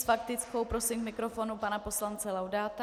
S faktickou prosím k mikrofonu pana poslance Laudáta.